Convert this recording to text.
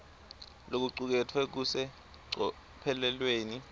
lokucuketfwe kusecophelweni